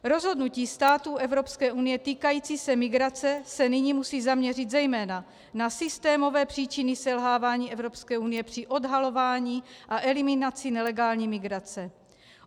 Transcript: Rozhodnutí států EU, týkající se migrace, se nyní musí zaměřit zejména na systémové příčiny selhávání EU při odhalování a eliminaci nelegální migrace.